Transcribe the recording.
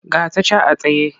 Ga ta can a tsaye.